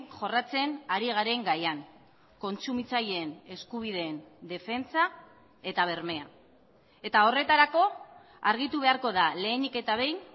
jorratzen ari garen gaian kontsumitzaileen eskubideen defentsa eta bermea eta horretarako argitu beharko da lehenik eta behin